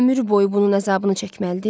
Ömür boyu bunun əzabını çəkməlidir?